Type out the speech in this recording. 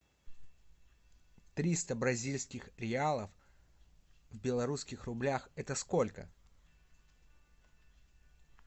триста бразильских реалов в белорусских рублях это сколько